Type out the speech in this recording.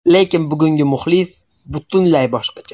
Lekin bugungi muxlis butunlay boshqacha.